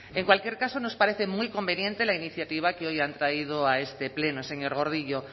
en cualquier caso nos parece muy conveniente la iniciativa que hoy han traído a este pleno señor gordillo